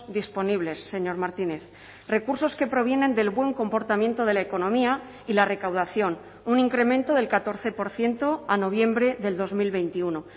disponibles señor martínez recursos que provienen del buen comportamiento de la economía y la recaudación un incremento del catorce por ciento a noviembre del dos mil veintiuno